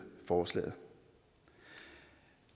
forslaget